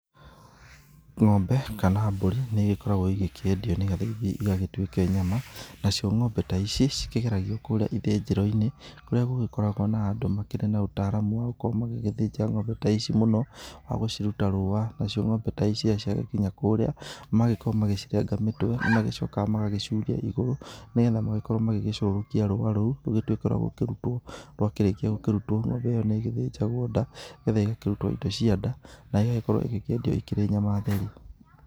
Ng’ombe kana mbũri, nĩ igĩkoragwo igĩkiendio nĩgetha ithiĩ igagĩtuike nyama , nacio ng’ombe ta ici cikĩgeragio kũrĩa ithĩnjĩro-inĩ , kũrĩa gũgĩkoragwo kwina andũ mena ũtaaramu wa gũgĩthĩnja ngombe ta ici mũno, wagũciruta rũũa , nacio ng’ombe ta ici ciagĩkinya kũrĩa, magagĩkorwo magĩcirenga mĩtwe, na nĩ magĩcokaga magagĩcuria igũrũ nĩgetha magĩkorwo magĩcokia rũũa rũu rũgĩtuĩke rwa gũkĩrutwo rwa kĩrĩkia gũkĩrutwo , ng’ombe nĩ igĩthĩnjagwo nda, nĩgetha igakĩrutwo indo cia nda na igagĩkorwo ikiendio ikĩrĩ nyama theru.